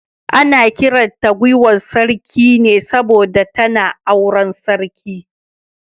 Ana kiran ta giwar Sarki ne saboda tana auren sarki.